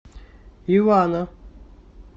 ивана